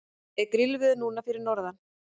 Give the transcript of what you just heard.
er grillveður núna fyrir norðan